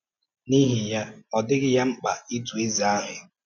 N’ihi ya, ọ dịghị ya mkpa ịtụ eze ahụ.